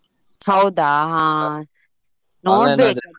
ಹೌದಾ ಹಾ ನೋಡ್ಬೇಕ್ ಅದೇ.